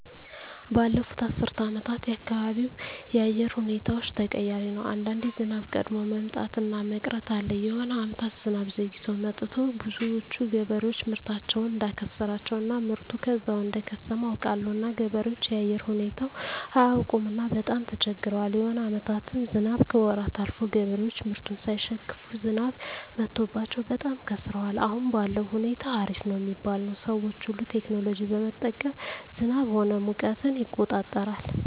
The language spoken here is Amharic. ባለፋት አስር አመታት የአካባቢው የአየር ሁኔታዎች ተቀያሪ ነው አንዳንዴ ዝናብ ቀድሞ መምጣት እና መቅረት አለ የሆነ አመታት ዝናብ ዘግይቶ መጥቱ ብዙዎች ገበሬዎች ምርታቸውን እዳከሰራቸው እና ምርቱ ከዛው እደከሰመ አውቃለሁ እና ገበሬዎች የአየር ሁኔታው አያውቅምና በጣም ተቸግረዋል የሆነ አመታትም ዝናብ ከወራት አልፎ ገበሬዎች ምርቱን ሳይሸክፋ ዝናብ መትቶባቸው በጣም ከስረዋል አሁን ባለዉ ሁኔታ አሪፍ ነው ሚባል ነው ሰዎች ሁሉ ቴክኖሎጂ በመጠቀም ዝናብ ሆነ ሙቀትን ይቆጠራል